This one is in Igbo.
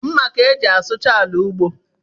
Mma ka-eji asụcha ala ugbo